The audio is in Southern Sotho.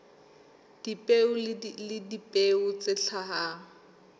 dipeo le dipeo tse hlahang